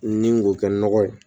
Ni k'o kɛ nɔgɔ ye